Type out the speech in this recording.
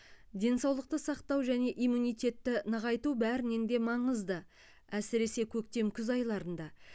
денсаулықты сақтау және иммунитетті нығайту бәрінен де маңызды әсіресе көктем күз айларында